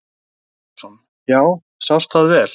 Gísli Óskarsson: Já, sást það vel?